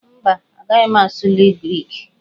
Mba, agaghị m asụli Griki